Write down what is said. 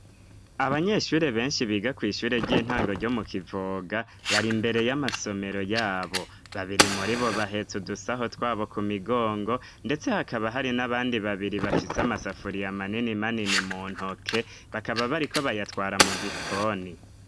Abanyeshure benshi biga kw'ishure ry'intango ryo mu Kivoga, bari imbere y'amasomero yabo, babiri muri bo bahetse udusaho twabo ku migongo, ndetse hakaba hari n'abandi babiri bafise amasafuriya amanini manini mu ntoke, bakaba bariko bayatwara mu gikoni.